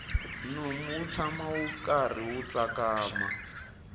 nomu wu tshama wu karhi wu tsakama